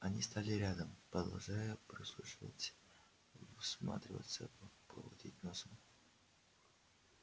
они стали рядом продолжая прислушиваться всматриваться поводить носом